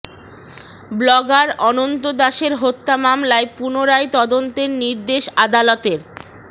blogger Ananta দাসের হত্যা মামলায় পুনরায় তদন্তের নির্দেশ আদালতের